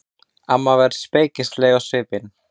Amma var spekingsleg á svipinn.